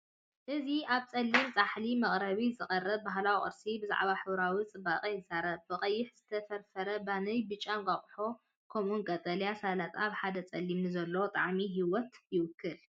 እዚ ኣብ ጸሊም ጻሕሊ መቅረቢ ዝቐርብ ባህላዊ ቁርሲ ብዛዕባ ሕብራዊ ጽባቐ ይዛረብ፤ ብቐይሕ ዝተፈርፈረ ባኒን: ብጫ እንቋቝሖ: ከምኡውን ቀጠልያ ሰላጣ ኣብ ሓደ ጻሕሊ ንዘሎ ጣዕሚ ህይወት ይውክሉ።